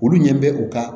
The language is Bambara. Olu ɲɛ bɛ u ka